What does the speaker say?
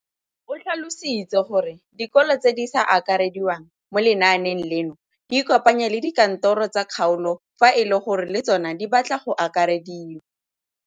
O tlhalositse gore dikolo tse di sa akarediwang mo lenaaneng leno di ikopanye le dikantoro tsa kgaolo fa e le gore le tsona di batla go akarediwa.